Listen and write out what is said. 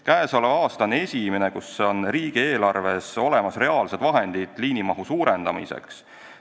Käesoleval aastal on esimest korda riigieelarves olemas reaalsed vahendid liinimahu suurendamiseks.